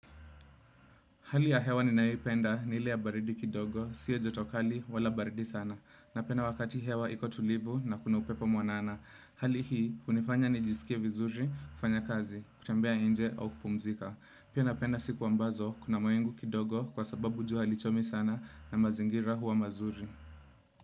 Hali ya hewa ninayoipenda ni ile ya baridi kidogo, sio joto kali wala baridi sana. Napenda wakati hewa iko tulivu na kuna upepo mwanana. Hali hii hunifanya nijisikie vizuri kufanya kazi, kutembea nje au kupumzika. Pia napenda siku ambazo, kuna mawingu kidogo kwa sababu jua halichomi sana na mazingira hua mazuri.